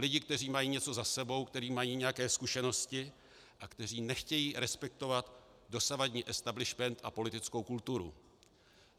Lidi, kteří mají něco za sebou, kteří mají nějaké zkušenosti a kteří nechtějí respektovat dosavadní establishment a politickou kulturu.